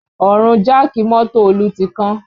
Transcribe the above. Ọrùn jáàkì mọ́tò Olú ti kán